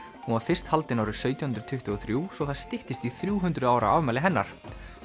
hún var fyrst haldin árið sautján hundruð tuttugu og þrjú svo það styttist í þrjú hundruð ára afmæli hennar